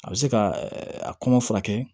A bɛ se ka a kɔngɔ furakɛ